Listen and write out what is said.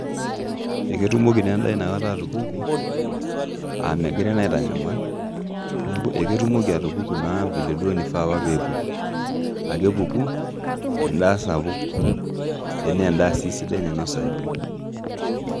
Eketumoko naa edaa inakata atupuku, aa megirae naa aitanyamal. Neeku eketumoko atupuku vile duo maisha apa peepiki. Aa kepuku edaa sapuk, naa edaa sii sidai nainosayu.